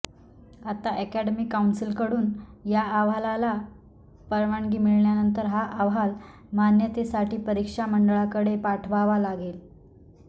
आता अकादमी कौन्सिलकडून या अहवालाला परवानगी मिळाल्यानंतर हा अहवाल मान्यतेसाठी परीक्षा मंडळाकडे पाठवावा लागेल